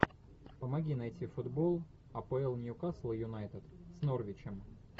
помоги найти футбол апл ньюкасл юнайтед с норвичем